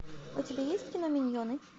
у тебя есть кино миньоны